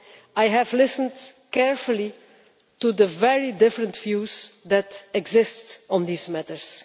I have listened carefully to the very different views that exist on these matters.